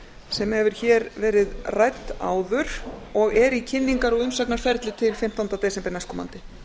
sem hefur hér verið rædd áður og er í kynningar og umsagnarferli til fimmtánda desember næstkomandi